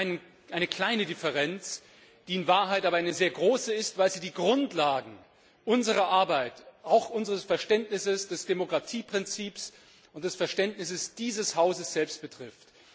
Es gibt nur eine kleine Differenz, die in Wahrheit aber eine sehr große ist, weil sie die Grundlagen unserer Arbeit, auch unser Verständnis vom Demokratieprinzip und das Verständnis dieses Hauses selbst betrifft.